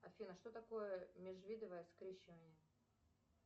афина что такое межвидовое скрещивание